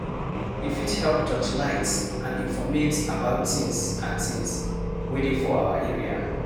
E fit help touchlight and informate about things and things wey dey for our area